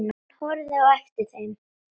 Hann horfði á eftir þeim.